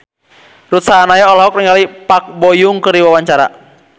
Ruth Sahanaya olohok ningali Park Bo Yung keur diwawancara